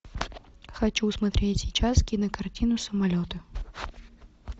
хочу смотреть сейчас кинокартину самолеты